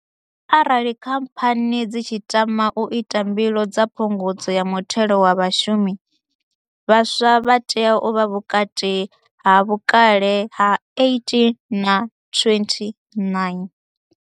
Arali khamphani dzi tshi tama u ita mbilo dza phungudzo ya muthelo wa vhashumi, vhaswa vha tea u vha vhukati ha vhukale ha 18 na 29.